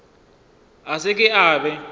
a se ke a be